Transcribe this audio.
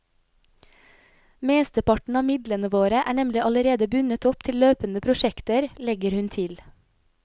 Mesteparten av midlene våre er nemlig allerede bundet opp til løpende prosjekter, legger hun til.